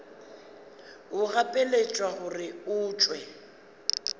o gapeletšwa gore o tšwe